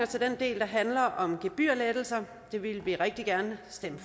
til den del der handler om gebyrlettelser det ville vi rigtig gerne stemme